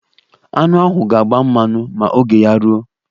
Aṅụ ahụ ga-agba mmanụ ma oge ya ruo.